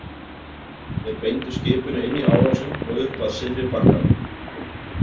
Þeir beindu skipinu inn í árósinn og upp að syðri bakkanum.